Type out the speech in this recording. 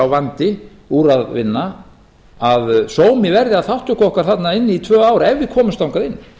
vandi úr að vinna að sómi verði að þátttöku okkar þarna inni í tvö ár ef við komumst þangað inn